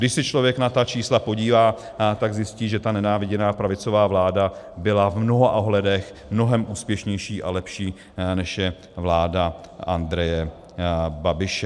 Když se člověk na ta čísla podívá, tak zajistí, že ta nenáviděná pravicová vláda byla v mnoha ohledech mnohem úspěšnější a lepší, než je vláda Andreje Babiše.